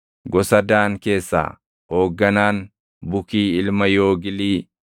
gosa Daan keessaa hoogganaan, Bukii ilma Yoogilii;